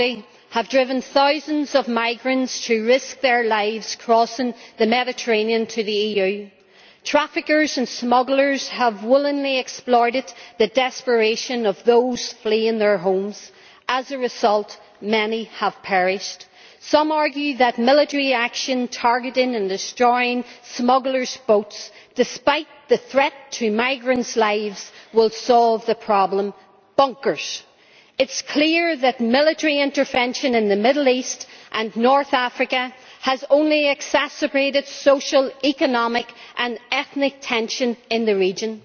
Mr President, civil war, deprivation and astounding levels of poverty have driven thousands of migrants to risk their lives crossing the Mediterranean to the EU. Traffickers and smugglers have willingly exploited the desperation of those fleeing their homes. As a result, many have perished. Some argue that military action targeting and destroying smugglers' boats, despite the threat to migrants' lives, will solve the problem. Bonkers! It is clear that military intervention in the Middle East and North Africa has only exacerbated social, economic and ethnic tensions in the region.